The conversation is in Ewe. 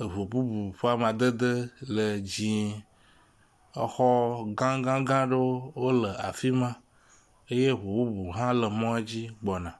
Eŋu bubu ƒe amadede le dzɛ̃e. Exɔ gã gã gã ɖewo le afi ma eye eŋu bubu hã le mɔa dzi gbɔna.